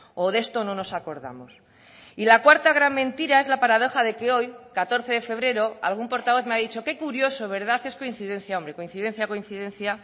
o de esto no nos acordamos y la cuarta gran mentira es la paradoja de que hoy catorce de febrero algún portavoz me ha dicho qué curioso verdad es coincidencia hombre coincidencia coincidencia